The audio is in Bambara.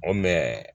O